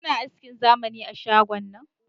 Kuna askin zamani a shgon nan?